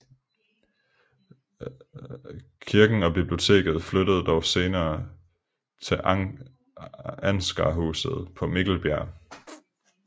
Kirken og biblioteket flyttede dog senere til Ansgarhuset på Mikkelbjerg